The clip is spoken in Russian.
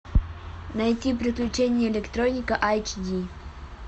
найти приключения электроника айч ди